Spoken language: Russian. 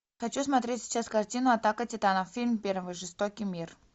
хочу смотреть сейчас картину атака титанов фильм первый жестокий мир